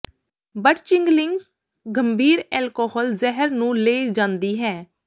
but ਚਿਗਲਿੰਗ ਗੰਭੀਰ alcohol ਜ਼ਹਿਰ ਨੂੰ ਲੈ ਜਾਂਦੀ ਹੈ